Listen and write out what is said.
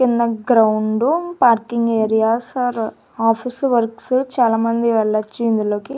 చిన్న ground parking areas or office works చాలా మంది వెళ్లొచ్చి ఇందులోకి.